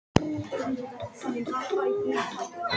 Hún spurði hvað hann vildi drekka.